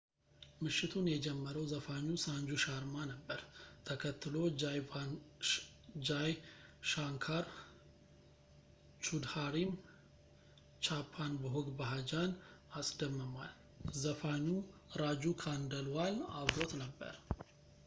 ምሽቱን የጀመረው ዘፋኙ ሳንጁ ሻርማ ነበር ተከትሎ ጃይ ሻንካር ቹድሃሪም chhappan bhog bhajan ን አስደምሟል ዘፋኙ ራጁ ካንደልዋል አብሮት ነበር